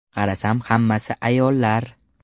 Qarasam hammasi ayollar.